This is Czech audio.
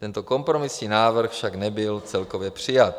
Tento kompromisní návrh však nebyl celkově přijat.